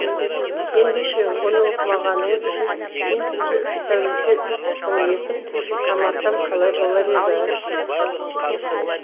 ендеше оны оқымағаныңыз үшін мен сізді үш тәулікке үй тұтқыны етіп қамасам қалай болар еді